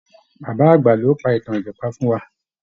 Bàbá àgbà ló pa ìtàn ìjàpá fún wa.